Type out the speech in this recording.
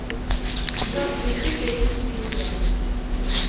джой включи песню безерк